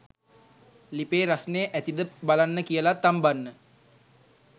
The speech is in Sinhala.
ලිපේ රස්නේ ඇතිද බලන්න කියලා තම්බන්න